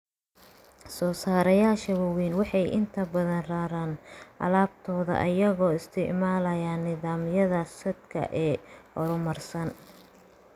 Soosaarayaasha waaweyni waxay inta badan raraan alaabadooda iyagoo isticmaalaya nidaamyada saadka ee horumarsan.